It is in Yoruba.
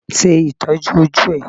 Ṣe Ìtọ́jú ojú ẹ.